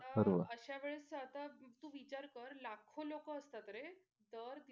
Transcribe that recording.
आता अशा वेळेस आता तू विचार कर लाखो लोक असतात रे. दर